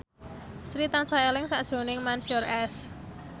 Sri tansah eling sakjroning Mansyur S